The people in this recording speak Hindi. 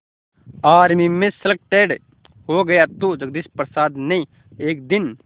आर्मी में सलेक्टेड हो गया तो जगदीश प्रसाद ने एक दिन